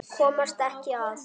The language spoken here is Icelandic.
Komast ekki að.